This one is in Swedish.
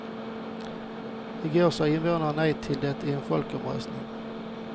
I går sa invånarna nej till det i en folkomröstning.